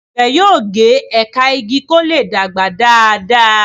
àgbè yóò ge ẹka ìgi kò lẹ dàgbà Dàda.